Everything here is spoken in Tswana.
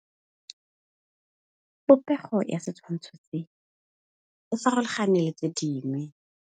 Popêgo ya setshwantshô se, e farologane le tse dingwe.